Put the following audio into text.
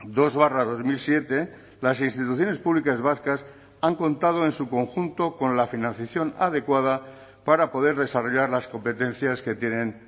dos barra dos mil siete las instituciones públicas vascas han contado en su conjunto con la financiación adecuada para poder desarrollar las competencias que tienen